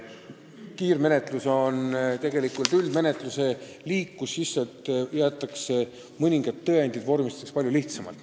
Kiirmenetlus on tegelikult üldmenetluse liik, mille puhul mõningad tõendid vormistatakse palju lihtsamalt.